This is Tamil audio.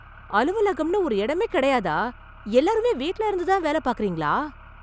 அலுவலகம்னு ஒரு இடமே கிடையாதா? எல்லாருமே வீட்ல இருந்து தான் வேலை பாக்கறீங்களா?